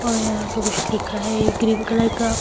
और यहां पे कुछ लिखा है ग्रीन कलर का।